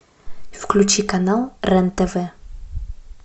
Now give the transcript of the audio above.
включи канал рен тв